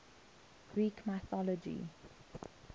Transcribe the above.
greek mythology